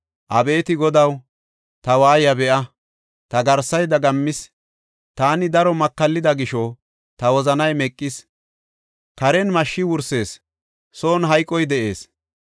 Abeeti Godaw, ta waayiya be7a! ta garsay dagammis. Taani daro makallida gisho, ta wozanay meqis; karen mashshi wursees; son hayqoy de7ees.